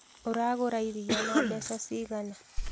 Ũragura iria na mbeca cigana?